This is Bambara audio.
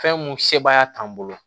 Fɛn mun sebaaya t'an bolo